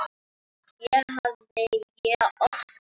Það hafði ég oft gert.